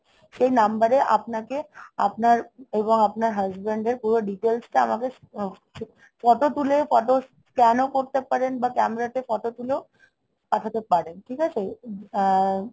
সেই number এ আপনাকে আপনার এবং আপনার husband এর পুরো details টা আমাকে photo তুলে photos scan ও করতে পারেন বা camera তে photo তুলেও পাঠাতে পারেন। ঠিক আছে? আহ!